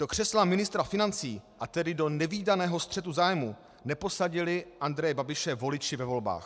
Do křesla ministra financí, a tedy do nevídaného střetu zájmů neposadili Andreje Babiše voliči ve volbách.